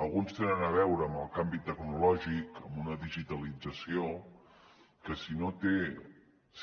alguns tenen a veure amb el canvi tecnològic amb una digitalització que si no té